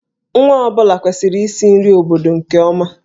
Nwa ọ bụla kwesịrị isi nri obodo nke ọma.